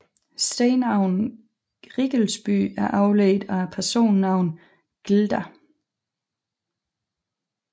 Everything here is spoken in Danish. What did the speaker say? Stednavnet Riggelsby er afledt af personnavnet glda